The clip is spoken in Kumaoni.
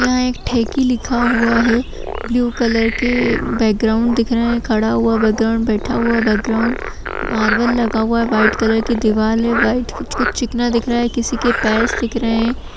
यहाँ एक ठेकी लिखा हुआ है ब्लू कलर के बैक ग्राउन्ड दिख रहें हैं खड़ा हुआ बैक ग्राउन्ड बैठा हुआ बैक ग्राउन्ड मार्बल लगा हुआ है व्हाइट कलर के दीवाल है व्हाइट कलर कुछ-कुछ चिकना दिख रहा है किसी के पैर दिख रहे हैं।